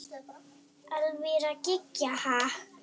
Elvíra Gýgja: Ha?